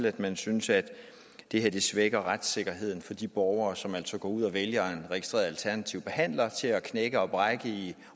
at man synes at det her svækker retssikkerheden for de borgere som går ud og vælger en registreret alternativ behandler til at knække og brække i